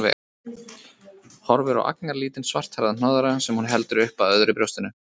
Horfir á agnarlítinn, svarthærðan hnoðra sem hún heldur upp að öðru brjóstinu.